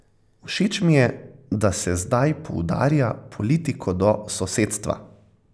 Všeč mi je, da se zdaj poudarja politiko do sosedstva.